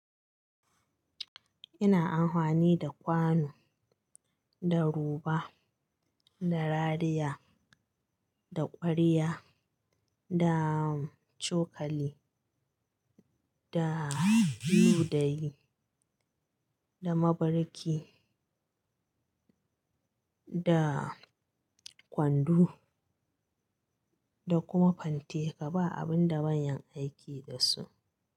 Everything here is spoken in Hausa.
Ina amfani da kwano, da roba, da rariya, da ƙwariya, da cokali, da ludayi, da mabarki, da kwando da kuma fante. Kaba abin da ban yan aiki dasu.